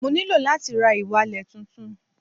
Mo ní láti ra ìwalẹ̀ tuntun